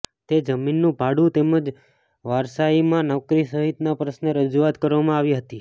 તે જમીનનું ભાડુ તેમજ વારસાઇમાં નોકરી સહિતના પ્રશ્ને રજૂઆત કરવામાં આવી હતી